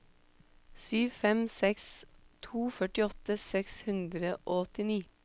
sju fem seks to førtiåtte seks hundre og åttini